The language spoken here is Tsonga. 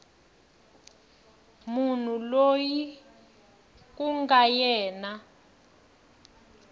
munhu loyi ku nga yena